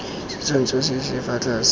setshwantsho se se fa tlase